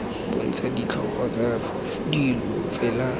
bontsha ditlhogo tsa dilo fela